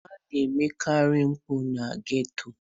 A na emekarị mpụ na geto.